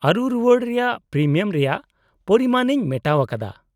-ᱟᱹᱨᱩ ᱨᱩᱣᱟᱹᱲ ᱨᱮᱭᱟᱜ ᱯᱨᱤᱢᱤᱭᱟᱢ ᱨᱮᱭᱟᱜ ᱯᱚᱨᱤᱢᱟᱱ ᱤᱧ ᱢᱮᱴᱟᱣ ᱟᱠᱟᱫᱟ ᱾